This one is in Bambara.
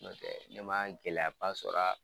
Nɔntɛ ne ma gɛlɛyaba sɔr'a